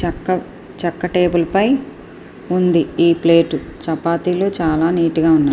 చక్క చక్క టేబుల్ పై ఉంది ఈ ప్లేట్ . చపాతీలు చాలా నీట్ గా ఉన్నాయి.